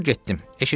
Sonra getdim.